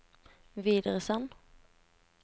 videresend